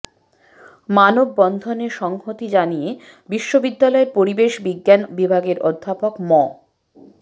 মানববন্ধনে সংহতি জানিয়ে বিশ্ববিদ্যালয়ের পরিবেশ বিজ্ঞান বিভাগের অধ্যাপক মো